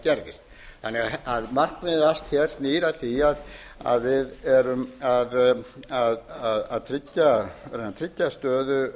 árið um hvað gerðist markmiðið allt snýr að því að við erum að tryggja stöðu